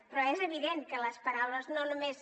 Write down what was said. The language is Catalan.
però és evident que les paraules no només